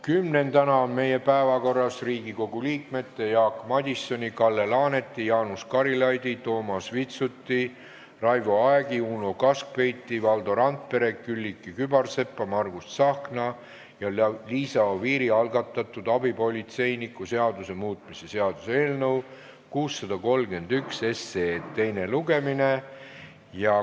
Kümnendana on meie päevakorras Riigikogu liikmete Jaak Madisoni, Kalle Laaneti, Jaanus Karilaidi, Toomas Vitsuti, Raivo Aegi, Uno Kaskpeiti, Valdo Randpere, Külliki Kübarsepa, Margus Tsahkna ja Liisa Oviiri algatatud abipolitseiniku seaduse muutmise seaduse eelnõu 631 teine lugemine.